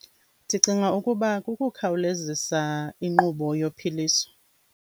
Ndicinga ukuba kukukhawulezisa inkqubo yophiliso.